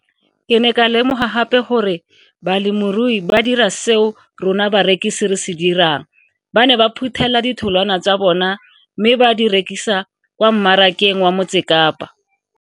Ke ne ka lemoga gape gore balemirui ba dira seo rona barekisi re se dirang ba ne ba phuthela ditholwana tsa bona mme ba di rekisa kwa marakeng wa Motsekapa.